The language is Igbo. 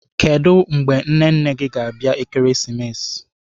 Kedụ mgbe nne nne gị ga-abịa Ekeresimesi?